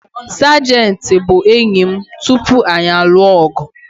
Sajenti bụ enyi m tupu anyị alụ ọgụ